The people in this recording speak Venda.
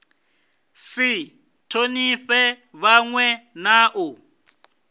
si thonifhe vhanwe na u